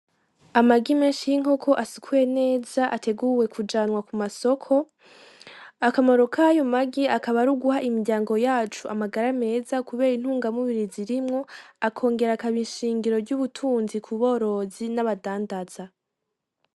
Amagi meshi y'inkoko asukuye neza ateguwe kujanwa k'umasoko, Akamaro kayo magi akaba aruguha imiryango yacu amagara meza kubera intungamubiri zirimwo akongera akaba ishingiro ry'ubutunzi k'uborozi naba dandaza.